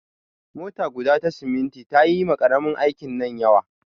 Mota guda ta siminti ta yi ma ƙaramin aikin nan yawa.